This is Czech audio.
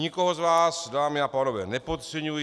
Nikoho z vás, dámy a pánové, nepodceňuji.